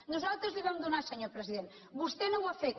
nosaltres la hi vam donar senyor president vostè no ho ha fet